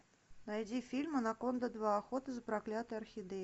найди фильм анаконда два охота за проклятой орхидеей